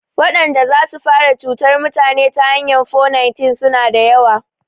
Wadanda zasu fara cutar mutane ta hanyan 419 suna da yawa